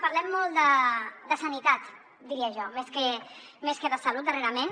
parlem molt de sanitat diria jo més que de salut darrerament